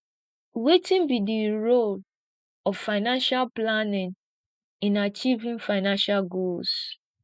wetin be di role of financial planning in achieving financial goals